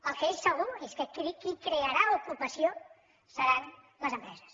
el que és segur és que qui crearà ocupació seran les empreses